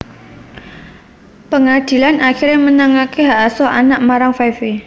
Pangadilan akiré menangaké hak asuh anak marang Five Vi